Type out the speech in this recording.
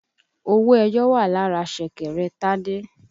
Owó ẹyọ wà lára ṣẹ̀kẹ̀rẹ̀ Tádé